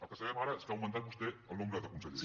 el que sabem ara és que ha augmentat vostè el nombre de consellers